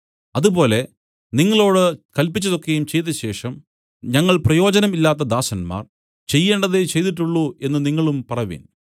അതുപോലെ നിങ്ങളോടു കല്പിച്ചത് ഒക്കെയും ചെയ്തശേഷം ഞങ്ങൾ പ്രയോജനം ഇല്ലാത്ത ദാസന്മാർ ചെയ്യേണ്ടതേ ചെയ്തിട്ടുള്ളു എന്നു നിങ്ങളും പറവിൻ